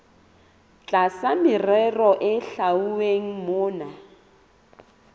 tlasa merero e hlwauweng mona